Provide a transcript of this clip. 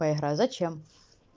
поиграть зачем